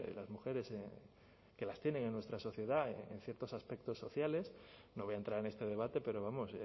las mujeres que las tienen en nuestra sociedad en ciertos aspectos sociales no voy a entrar en este debate pero vamos